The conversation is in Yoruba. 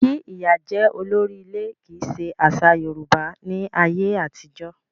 Kí ìyá jẹ́ olórí ilé kì í ṣe àṣà Yorùbá ní ayé àtijọ́.